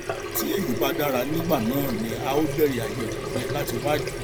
tí èyí bá dára nígbà náà ni a ó bẹrẹ àyẹwò rẹ láti wá ìdí